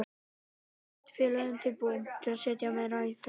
En eru sveitarfélögin tilbúin til að setja meira fé í strætó?